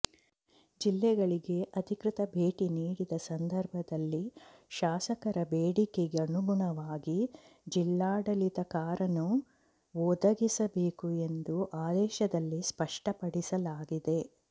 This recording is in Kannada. ಜಿಲ್ಲೆಗಳಿಗೆ ಅಧಿಕೃತ ಭೇಟಿ ನೀಡಿದ ಸಂದರ್ಭದಲ್ಲಿ ಶಾಸಕರ ಬೇಡಿಕೆಗನುಗುಣವಾಗಿ ಜಿಲ್ಲಾಡಳಿತ ಕಾರನ್ನು ಒದಗಿಸಬೇಕು ಎಂದು ಆದೇಶದಲ್ಲಿ ಸ್ಪಷ್ಟಪಡಿಸಲಾಗಿದೆ